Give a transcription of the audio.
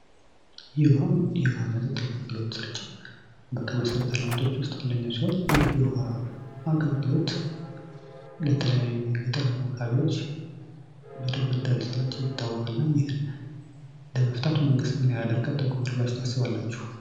የውሃ መጠጥ አገልግሎት ስርጭት ከመሰረተ ልማቶች ውስጥ አንደኛ ሲሆን ይህ የውሃ አገልግሎት በተለያዩ የገጠር አካባቢዎች በደንብ እንዳልተሰራቸው ይታወቃል እና መንግትን ለመፍታት ምን ያህል መንገ ተጉዟል ብላችሁ ታስባላችሁ?